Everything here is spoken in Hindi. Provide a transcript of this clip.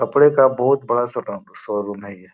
कपड़े का बहुत बड़ा शोरूम हैं ये।